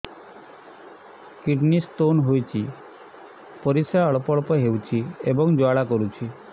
kidney stone ହୋଇଛି ପରିସ୍ରା ଅଳ୍ପ ଅଳ୍ପ ହେଉଛି ଏବଂ ଜ୍ୱାଳା କରୁଛି